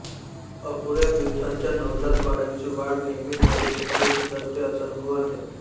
अपुऱ्या दिवसांच्या नवजात बाळांची वाढ नियमित बस्तीमुळे सुधारते असा अनुभव आहे